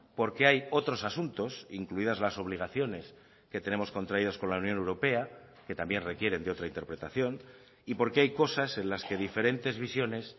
porque hay otros asuntos incluidas las obligaciones que tenemos contraídos con la unión europea que también requieren de otra interpretación y porque hay cosas en las que diferentes visiones